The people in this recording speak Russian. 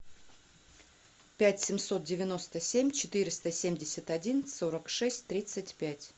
пять семьсот девяносто семь четыреста семьдесят один сорок шесть тридцать пять